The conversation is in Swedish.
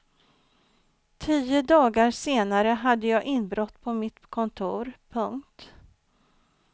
Tio dagar senare hade jag inbrott på mitt kontor. punkt